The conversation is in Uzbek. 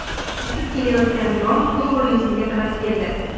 Uchib kelayotgan dron to‘g‘ri yuzimga qarab keldi.